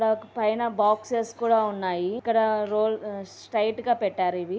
అక్కడ పైన బాక్సెస్ కూడా ఉన్నాయి. ఇక్కడ రోల్ స్ట్రైట్ గా పెట్టారు ఇవి --